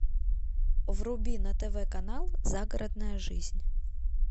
вруби на тв канал загородная жизнь